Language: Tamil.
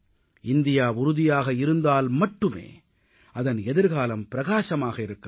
இந்தியா உறுதியாக இருந்தால் மட்டுமே அதன் எதிர்காலம் பிரகாசமாக இருக்க முடியும்